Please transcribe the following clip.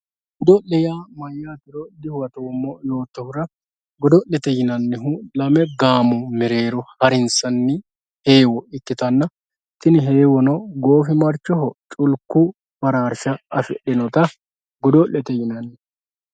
godo'le yaa mayaatero dihuwatoomo yootohura godo'le lame gaamo mereero harinsanni heewo ikkitanna tini heewono goofimarchoho culku baraarsha afixinota godo'lete yinanni.